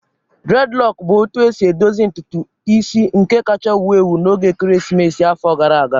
Dreadlocks bụ etu esi edozi ntutu isi nke kacha wụo ewu na oge ekeresimesi afọ gara agaa